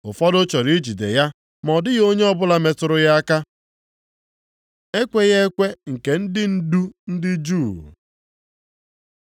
Ụfọdụ chọrọ ijide ya ma ọ dịghị onye ọbụla metụrụ ya aka. Ekweghị ekwe nke ndị ndu ndị Juu